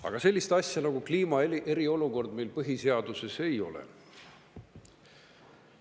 Aga sellist asja nagu kliimast eriolukord meil põhiseaduses ei ole.